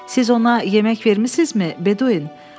Siz ona yemək vermisinizmi, Bedouin?